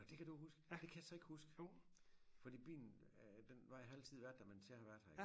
Nåh det kan du huske det kan jeg så ikke huske fordi byen øh den var har ikke altid været der imens jeg har været her